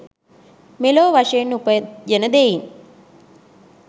මෙලොව වශයෙන් උපයන දෙයින්